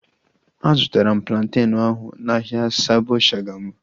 A zụtara m plantenu ahu n'ahia Sabo Shagamu